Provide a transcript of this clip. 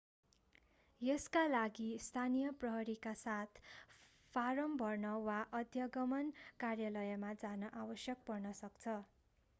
यसका लागि स्थानीय प्रहरीका साथ फाराम भर्न वा अध्यागमन कार्यालयमा जान आवश्यक पर्न सक्छ